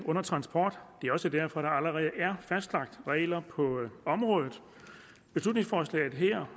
under transport det er også derfor der allerede er fastlagt regler på området beslutningsforslaget her